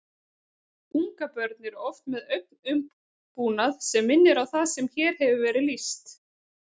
Ungabörn eru oft með augnaumbúnað sem minnir á það sem hér hefur verið lýst.